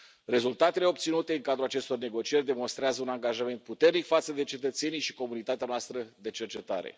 Rezultatele obținute în cadrul acestor negocieri demonstrează un angajament puternic față de cetățenii și comunitatea noastră de cercetare.